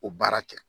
O baara kɛ